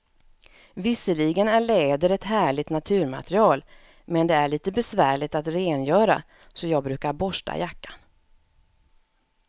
Visserligen är läder ett härligt naturmaterial, men det är lite besvärligt att rengöra, så jag brukar borsta jackan.